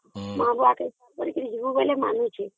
ମା' କୁ ଆସେ କରିକି ଯିବୁ ବୋଲେ ମାନୁଛି